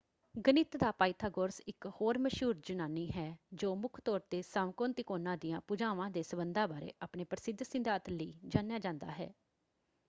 ਗਣਿਤ ਦਾ ਪਾਇਥਾਗੋਰਸ ਇੱਕ ਹੋਰ ਮਸ਼ਹੂਰ ਯੂਨਾਨੀ ਹੈ ਜੋ ਮੁੱਖ ਤੌਰ ‘ਤੇ ਸਮਕੋਣ ਤਿਕੋਣਾਂ ਦੀਆਂ ਭੁਜਾਵਾਂ ਦੇ ਸਬੰਧਾਂ ਬਾਰੇ ਆਪਣੇ ਪ੍ਰਸਿੱਧ ਸਿਧਾਂਤ ਲਈ ਜਾਣਿਆ ਜਾਂਦਾ ਹੈ।